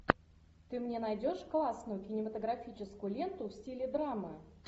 ты мне найдешь классную кинематографическую ленту в стиле драмы